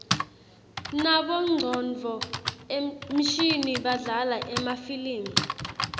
nabongcondvo mshini badlala emafilimi